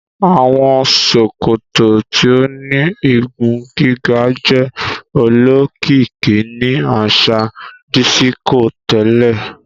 Awọn sòkòtò tíó ní ìgún-gigà jẹ òlókìkì ní aṣa dísíkò tẹlẹ